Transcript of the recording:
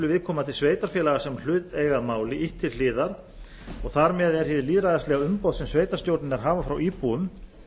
viðkomandi sveitarfélaga sem hlut eiga að máli ýtt til hliðar og þar með er hið lýðræðislega umboð sem sveitarstjórnirnar hafa frá íbúum